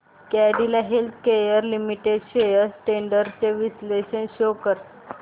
Cadila healthcare limited shares trends चे विश्लेषण show कर